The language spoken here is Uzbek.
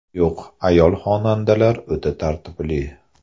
Yo‘q, ayol xonandalar o‘ta tartibli.